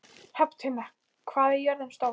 Hrafntinna, hvað er jörðin stór?